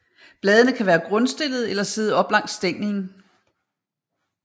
Bladene kan være grundstillede eller sidde op langs stænglen